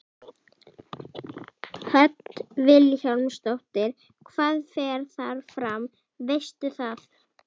Hödd Vilhjálmsdóttir: Hvað fer þar fram, veistu það?